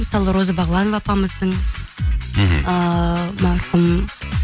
мысалы роза бағланова апамыздың мхм ыыы марқұм